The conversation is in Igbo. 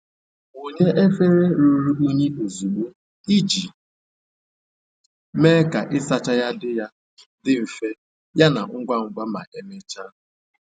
Wunye efere ruru unyi ozugbo iji mee ka ịsacha ya dị ya dị mfe yana ngwa ngwa ma emechaa.